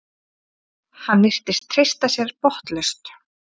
Hann virtist treysta sér botnlaust.